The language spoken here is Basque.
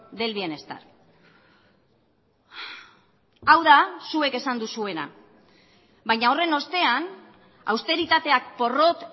del bienestar hau da zuek esan duzuena baina horren ostean austeritateak porrot